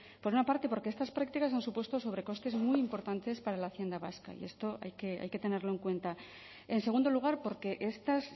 por una parte porque estas prácticas han supuesto sobrecostes muy importantes para la hacienda vasca y esto hay que tenerlo en cuenta en segundo lugar porque estos